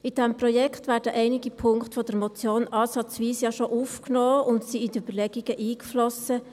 In diesem Projekt werden ja schon einige Punkte der Motion ansatzweise aufgenommen und sind in die Überlegungen eingeflossen.